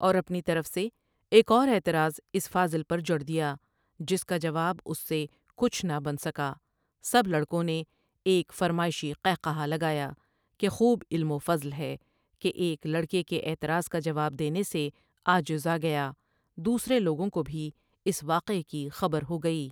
اور اپنی طرف سے ایک اور اعتراض اس فاضل پر جڑ دیا جس کا جواب اس سے کچھ نہ بن سکا سب لڑکوں نے ایک فرمائشی قہقہہ لگا یا کہ خوب علم و فضل ہے کہ ایک لڑکے کے اعتراض کا جواب دینے سے عاجز آ گیا دوسرے لوگوں کو بھی اس واقعہ کی خبر ہو گئی۔